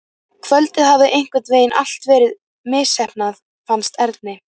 Kvöldið hafði einhvern veginn allt verið misheppnað, fannst Erni.